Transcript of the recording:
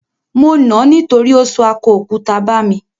Mo nà ań nítorí ó sọ akọ òkúta bà mí.